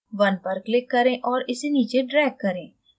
1 पर click करें और इसे नीचे drag करें